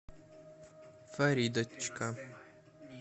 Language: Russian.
фаридочка